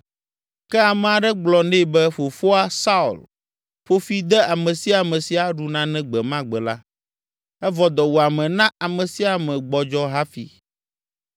Ke ame aɖe gblɔ nɛ be fofoa, Saul, ƒo fi de ame sia ame si aɖu nane gbe ma gbe la, evɔ dɔwuame na ame sia ame gbɔdzɔ hafi.